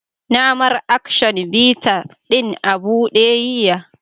Na mar "Action bitters " din abude yiya.